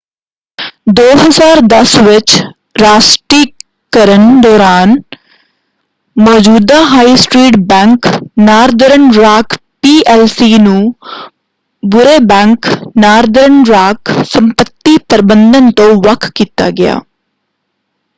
2010 ਵਿੱਚ ਰਾਸ਼ਟੀਕਰਨ ਦੌਰਾਨ ਮੌਜੂਦਾ high street bank Northern Rock PLC ਨੂੰ 'ਬੁਰੇ ਬੈਂਕ' ਨਾਰਦਰਨ ਰਾਕ ਸੰਪਤੀ ਪ੍ਰਬੰਧਨ ਤੋਂ ਵੱਖ ਕੀਤਾ ਗਿਆ।